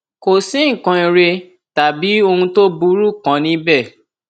kò sí nǹkan ire tàbí ohun tó burú kan níbẹ